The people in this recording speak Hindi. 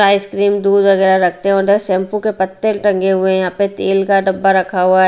आइसक्रीम दूध वगैरह रखते हैं और शैंपू के पत्ते टंगे हुए हैं यहां पे तेल का डब्बा रखा हुआ है।